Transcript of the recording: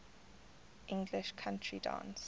english country dance